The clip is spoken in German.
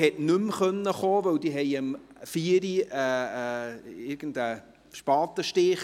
Die BVE konnte nicht mehr kommen, denn sie hatten um 16 Uhr irgendeinen Spatenstich.